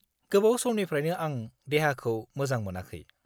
गोबाव समनिफ्रायनो आं देहाखौ मोजां मोनाखै।